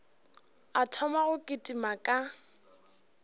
a thoma go kitima ka